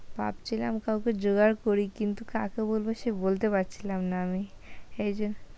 ভাবছিলাম কাউকে জোগাড় করি, কিন্তু কাকে বলব সে বলতে পারছিলাম না, আমি এই